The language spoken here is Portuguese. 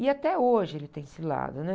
E até hoje ele tem esse lado, né?